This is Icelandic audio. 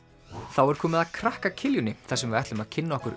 þá er komið að krakka þar sem við ætlum að kynna okkur